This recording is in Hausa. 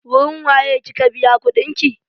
Wurin wa ye kika biya kuɗin ki?